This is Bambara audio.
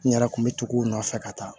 N yɛrɛ kun bɛ tugu u nɔfɛ ka taa